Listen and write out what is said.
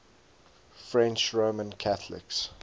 french roman catholics